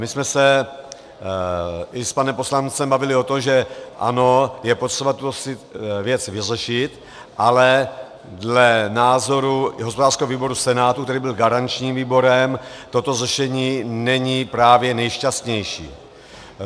My jsme se i s panem poslancem bavili o tom, že ano, je potřeba tuto věc vyřešit, ale dle názoru hospodářského výboru Senátu, který byl garančním výborem, toto řešení není právě nejšťastnější.